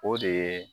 O de ye